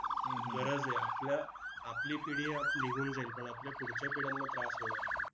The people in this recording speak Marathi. गरज आहे. आपल्या आपली पिढी आह निघून जाईल, पण आपल्या पुढच्या पिढयांना त्रास होणार आहे.